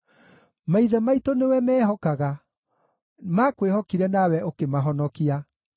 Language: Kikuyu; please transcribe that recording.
Maithe maitũ nĩwe meehokaga; maakwĩhokire nawe ũkĩmahonokia.